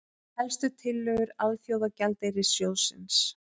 Helstu tillögur Alþjóðagjaldeyrissjóðsins